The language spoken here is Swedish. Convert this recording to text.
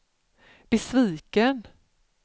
besviken